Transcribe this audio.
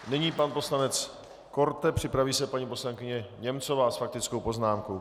Nyní pan poslanec Korte, připraví se paní poslankyně Němcová s faktickou poznámkou.